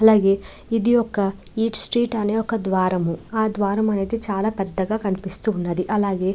అలాగే ఇది Eat Street అనే ఒక ద్వారము. ఆ ద్వారము అనేది చాలా పెద్దగా కనిపిస్తుంది. అలాగే --